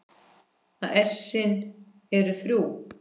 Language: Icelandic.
að essin eru þrjú!